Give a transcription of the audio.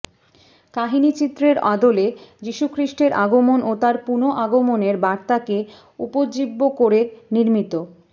কাহিনিচিত্রের আদলে যিশুখ্রিষ্টের আগমন ও তাঁর পুনঃ আগমনের বার্তাকে উপজীব্য করে নির্মিত